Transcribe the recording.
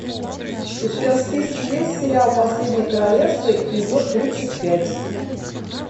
у тебя в списке есть сериал последнее королевство эпизод тридцать пять